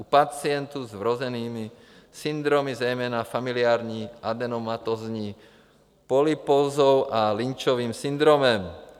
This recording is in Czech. u pacientů s vrozenými syndromy, zejména familiární adenomatózní polypózou a Lynchovým syndromem;